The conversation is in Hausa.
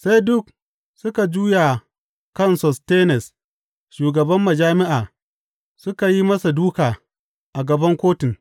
Sai duk suka juya kan Sostenes shugaban majami’a suka yi masa dūka a gaban kotun.